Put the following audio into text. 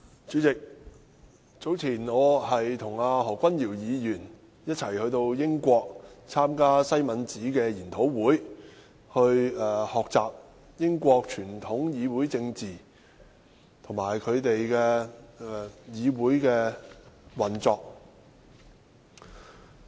主席，早前我和何君堯議員一起到英國參加西敏寺研討會，學習英國傳統議會政治和議會運作。